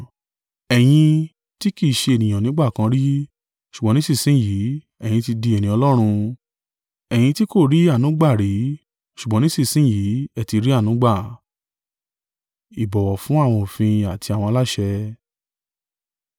Ẹ̀yin tí kì í ṣe ènìyàn nígbà kan rí, ṣùgbọ́n nísinsin yìí, ẹ̀yin ti di ènìyàn Ọlọ́run, ẹ̀yin tí kò rí àánú gbà rí, ṣùgbọ́n nísinsin yìí, ẹ ti rí àánú gbà.